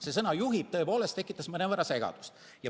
See sõna "juhib" tõepoolest tekitas mõnevõrra segadust.